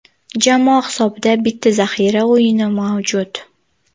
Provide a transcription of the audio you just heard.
Jamoa hisobida bitta zaxira o‘yini mavjud.